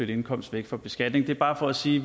indkomst væk fra beskatning det er bare for at sige